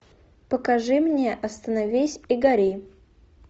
покажи мне остановись и гори